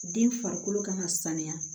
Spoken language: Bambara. Den farikolo kan ka sanuya